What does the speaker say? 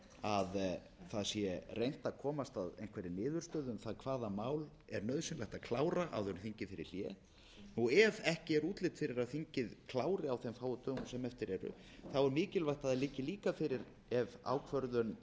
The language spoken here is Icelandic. að það sé reynt að komast að einhverri niðurstöðu um það hvaða mál er nauðsynlegt að klára áður en þingið fer í hlé ef ekki er útlit fyrir að þingið klári á þeim fáu dögum sem eftir eru er mikilvægt að liggi líka fyrir ef ákvörðun